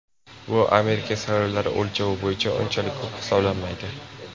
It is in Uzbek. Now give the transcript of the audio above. Bu Amerika saylovlari o‘lchovi bo‘yicha unchalik ko‘p hisoblanmaydi.